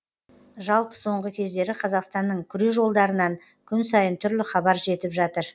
жалпы соңғы кездері қазақстанның күрежолдарынан күн сайын түрлі хабар жетіп жатыр